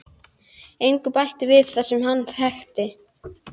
Og ef ég væri fátæk þá mætti hamingjan hjálpa mér.